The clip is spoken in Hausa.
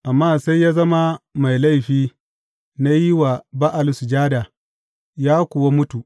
Amma sai ya zama mai laifi na yin wa Ba’al sujada, ya kuwa mutu.